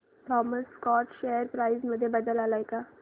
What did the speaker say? Thomas Scott share price मध्ये बदल आलाय का